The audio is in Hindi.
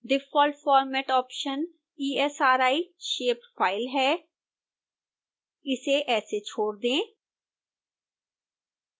default format option esri shapefile है इसे ऐसे छोड़ दें